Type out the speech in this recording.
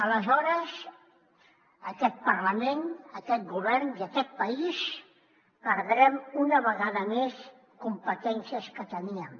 aleshores aquest parlament aquest govern i aquest país perdrem una vegada més competències que teníem